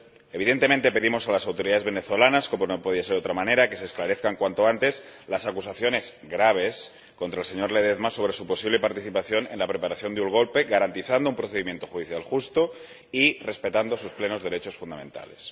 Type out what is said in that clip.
Evidentemente pedimos a las autoridades venezolanas, como no podía ser de otra manera, que se esclarezcan cuanto antes las acusaciones, graves, contra el señor Ledezma sobre su posible participación en la preparación de un golpe, garantizando un procedimiento judicial justo y respetando sus plenos derechos fundamentales.